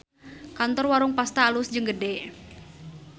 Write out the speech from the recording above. Kantor Warung Pasta alus jeung gede